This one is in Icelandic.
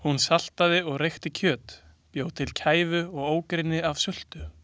Hún saltaði og reykti kjöt, bjó til kæfu og ógrynni af sultu.